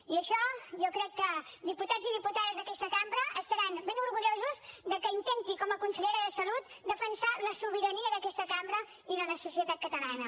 i això jo crec que diputats i diputades d’aquesta cambra estaran ben orgullosos de que intenti com a consellera de salut defensar la sobirania d’aquesta cambra i de la societat catalana